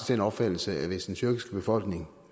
den opfattelse at hvis den tyrkiske befolkning